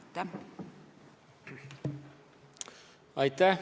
Aitäh!